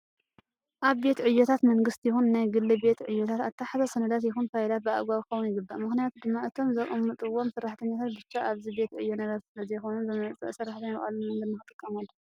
ኣብ ቤት ዕዮታት መንግስቲ ይኹን ናይ ግሊ ቤት ዕዮታት ኣተሓሕዛ ሰነዳት ይኹን ፋይላት ብኣግባቡ ክኸውን ይግባእ። ምክንያቱ ድማ እቶም ዘቀመጥዎም ሰራሕተኛታት ብቻ ኣብዚ ቤት ዕዮ ነበርቲ ስለዘይኾኑ ዝመፅኣ ሰራሕተኛ ብቀሊል መንገዲ ንክጥቀምሎም።